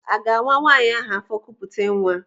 Aga-awa nwaanyị ahụ afọ kupute nwa?